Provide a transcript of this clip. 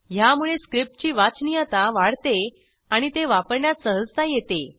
ह्यामुळे स्क्रिप्टची वाचनीयता वाढते आणि ते वापरण्यात सहजता येते